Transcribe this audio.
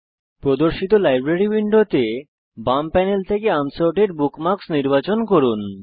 প্রদর্শিত লাইব্রেরি উইন্ডোতে বাম প্যানেল থেকে আনসর্টেড বুকমার্কস নির্বাচন করুন